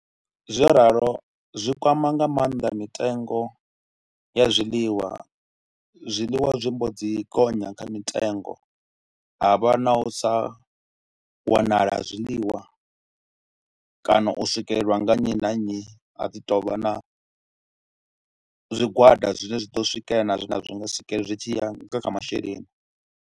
Zwo ralo zwi kwama nga maanḓa mitengo ya zwiḽiwa, zwiḽiwa zwi mbo dzi gonya kha mitengo, ha vha na u sa wanala ha zwiḽiwa kana u swikelelwa nga nnyi na nnyi ha ḓi tou vha na zwigwada zwine zwa ḓo swikelela na zwine a zwi nga swikelela zwi tshi ya nga kha masheleni.